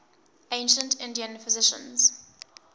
ancient indian physicians